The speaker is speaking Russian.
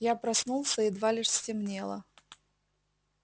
я проснулся едва лишь стемнело